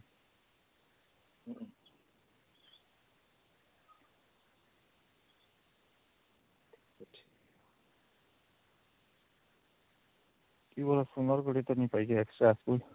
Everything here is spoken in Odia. ଇ ବରଷ sundargarh ତ ନାଇଁ ପାଈ ଯେ extra school